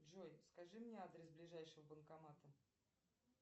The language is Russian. джой скажи мне адрес ближайшего банкомата